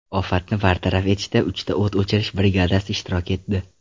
Ofatni bartaraf etishda uchta o‘t o‘chirish brigadasi ishtirok etdi.